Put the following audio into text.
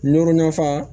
Nɔri nafa